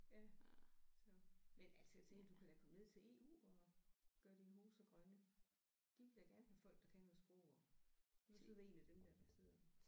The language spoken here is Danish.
Ja så men altså jeg tænkte du kan da komme ned til EU og gøre dine hoser grønne de vil da gerne have folk der kan noget sprog og du kan så være én af dem der der sidder